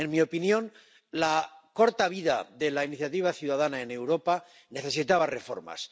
En mi opinión, la corta vida de la iniciativa ciudadana en Europa necesitaba reformas.